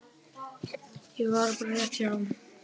Ég var bara rétt hjá.